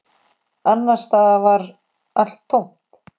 Annars staðar var allt tómt.